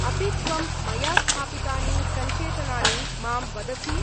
अपि त्वं मया स्थापितानि संचेतनानि मां वदसि?